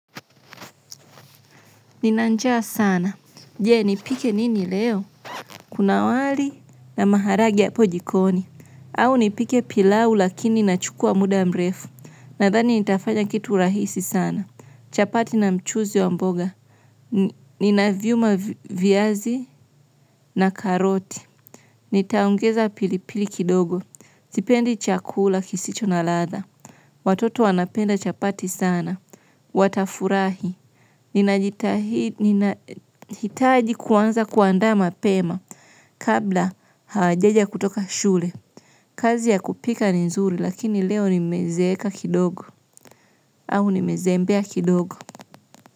Nina njaa sana. Jee, nipike nini leo? Kuna wali na maharagwe hapo jikoni. Au nipike pilau lakini inachukua muda mrefu. Nadhani nitafanya kitu rahisi sana. Chapati na mchuzi wa mboga. Nina viuma viazi na karoti. Nitaongeza pilipili kidogo. Sipendi chakula kisicho na ladha. Watoto wanapenda chapati sana. Watafurahi ninataji kuanza kuandaa mapema kabla hawajaja kutoka shule. Kazi ya kupika ni nzuri lakini leo nimezeka kidogo. Au nimezembea kidogo.